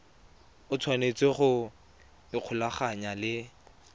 o tshwanetse go ikgolaganya le